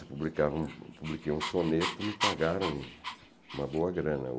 publicavam, eu publiquei um soneto e me pagaram uma boa grana.